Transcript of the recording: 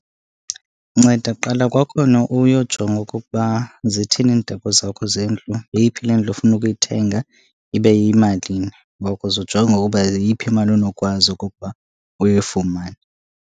Nceda qala kwakhona uyojonga okokuba zithini iindaba zakho zendlu. Yeyiphi le ndlu ufuna ukuyithenga, ibe iyimalini. Uba ukuze ujonge ukuba yiyiphi imali onokwazi okokuba uyifumane.